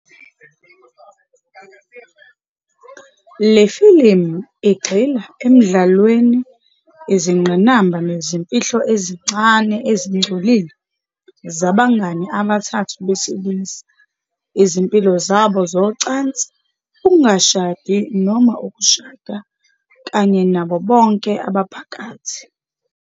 Le filimu "igxila emdlalweni, izingqinamba nezimfihlo ezincane ezingcolile zabangane abathathu besilisa, izimpilo zabo zocansi, ukungashadi noma ukushada, kanye nabo bonke abaphakathi".